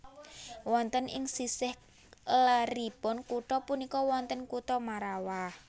Wonten ing sisih leripun kutha punika wonten kutha Marrawah